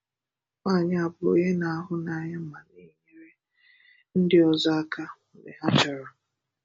Nwányị a bụ onye na-ahụ́nànyà ma na-enyèrè ndị ọzọ aka mgbe ha chọrọ.